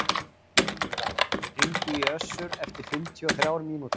Jónída, hringdu í Össur eftir fimmtíu og þrjár mínútur.